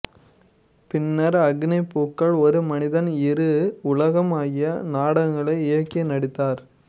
பின்னர் அக்கினிப் பூக்கள் ஒரு மனிதன் இரு உலகம் ஆகிய நாடகங்களை இயக்கி நடித்தார்